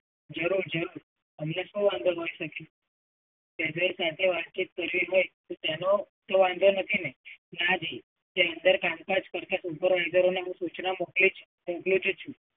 જરુંર જરુંર, અમને શું વાંધો હોય સાહેબ? કેપ્ટન સાથે વાતચીત કરવી હોય તો તેનો કઈ વાંધો નથી ને? ના જી. कामकाज करके इधर आनेकी सूचना મોકલી છે મોકલું જ છું.